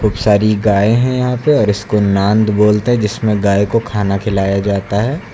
सारी गाय हैं यहां पे इसको नाद बोलते हैं जिसमें गाय को खाना खिलाया जाता है।